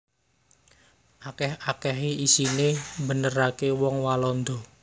Akèh akèhé isiné mbeneraké wong Walanda